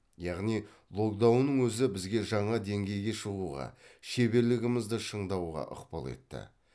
яғни локдаунның өзі бізге жаңа деңгейге шығуға шеберлігімізді шыңдауға ықпал етті